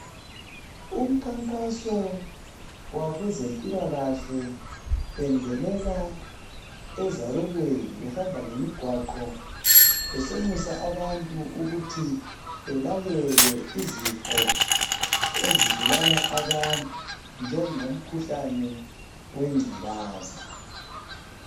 Umkhankaso wabezempilakahle bengenela ezabelweni , behamba ngemigwaqo besenxusa abantu ukuthi belalele, izifo ezibulala abantu. Njengo mkhuhlane wengculaza.